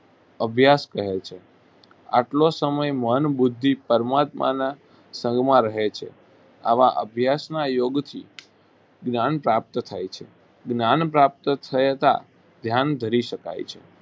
અભ્યાસ કહે છે આટલો સમય મન બુદ્ધિ પરમાત્માના સંગમાં રહે છે. આવા અભ્યાસના યોગથી જ્ઞાન પ્રાપ્ત થાય છે. જ્ઞાન પ્રાપ્ત થયતા ધ્યાન ધરી શકાય છે